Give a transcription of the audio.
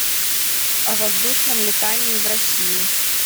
о воздушном летании в россии